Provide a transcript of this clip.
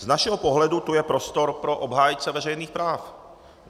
Z našeho pohledu tu je prostor pro obhájce veřejných práv!